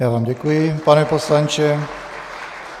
Já vám děkuji, pane poslanče.